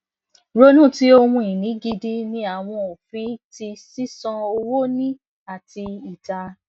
ronu ti ohunini gidi ni awọn ofin ti sisan owo ni ati ita